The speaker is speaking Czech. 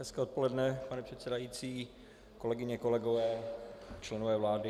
Hezké odpoledne, pane předsedající, kolegyně, kolegové, členové vlády.